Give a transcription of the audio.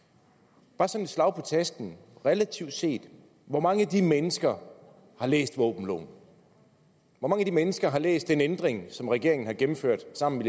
bare som sådan et slag på tasken og relativt set hvor mange af de mennesker har læst våbenloven hvor mange af de mennesker har læst den ændring som regeringen har gennemført sammen